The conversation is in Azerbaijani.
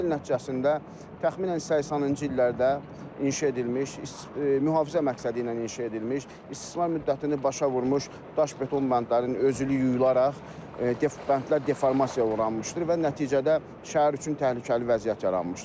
Sel nəticəsində təxminən 80-ci illərdə inşa edilmiş, mühafizə məqsədi ilə inşa edilmiş, istismar müddətini başa vurmuş daş beton bəndlərinin özülü yuyularaq bəndlər deformasiyaya uğramışdır və nəticədə şəhər üçün təhlükəli vəziyyət yaranmışdır.